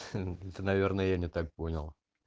ты наверное я не так понял